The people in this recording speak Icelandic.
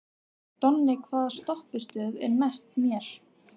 Donni, hvaða stoppistöð er næst mér?